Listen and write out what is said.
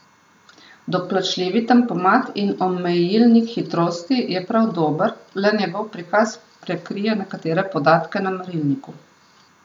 Doplačljivi tempomat in omejilnik hitrosti je prav dober, le njegov prikaz prekrije nekatere podatke na merilniku.